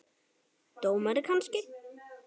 Dómari kannski?